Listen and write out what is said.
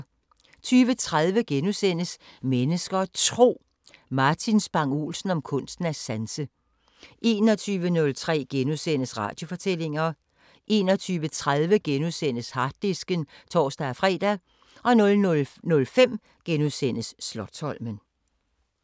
20:30: Mennesker og Tro: Martin Spang Olsen om kunsten at sanse * 21:03: Radiofortællinger * 21:30: Harddisken *(tor-fre) 00:05: Slotsholmen *